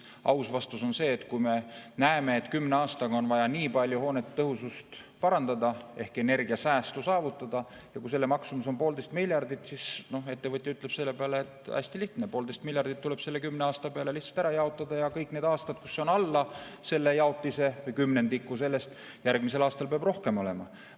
Aus vastus on see, et kui me näeme, et kümne aastaga on vaja nii palju hoonete tõhusust parandada ehk energiasäästu saavutada, ja kui selle maksumus on 1,5 miljardit, siis ettevõtja ütleb selle peale, et hästi lihtne, 1,5 miljardit tuleb selle kümne aasta peale ära jaotada ja kui on alla selle jaotise või kümnendiku sellest, siis järgmisel aastal peab rohkem olema.